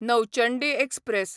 Nauchandi express